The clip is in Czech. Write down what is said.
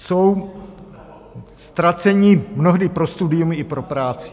Jsou ztraceni mnohdy pro studium i pro práci.